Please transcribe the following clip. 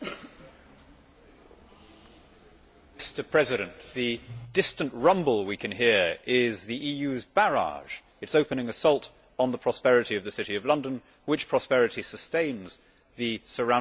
Mr President, the distant rumble we can hear is the EU's barrage, its opening assault on the prosperity of the City of London, whose prosperity sustains the surrounding economy of my constituency.